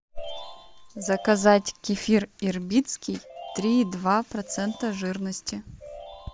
заказать кефир ирбитский три и два процента жирности